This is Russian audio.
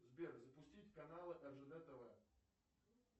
сбер запустить каналы ржд тв